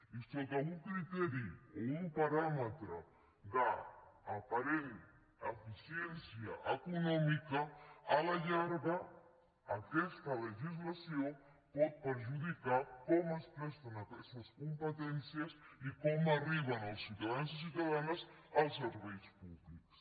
i sota un criteri o un paràmetre d’aparent eficiència econòmica a la llarga aquesta legislació pot perjudicar com es presten aquestes competències i com arriben als ciutadans i ciutadanes els serveis públics